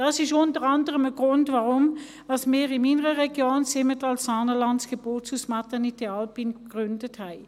Das ist unter anderem ein Grund, weshalb wir in meiner Region Simmental-Saanenland das Geburtshaus «Maternité Alpine» gegründet haben.